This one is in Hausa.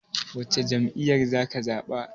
Wacce jam'iyyar zaka zaɓa?